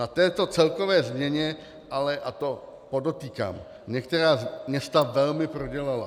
Na této celkové změně ale, a to podotýkám, některá města velmi prodělala.